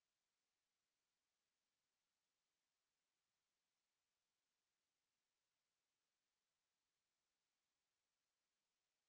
to